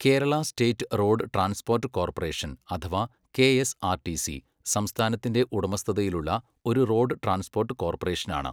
Kerala state road transport corporation അഥവാ KSRTC, സംസ്ഥാനത്തിന്റെ ഉടമസ്ഥതയിലുള്ള ഒരു റോഡ് ട്രാൻസ്പോർട്ട് കോർപ്പറേഷനാണ്.